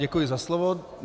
Děkuji za slovo.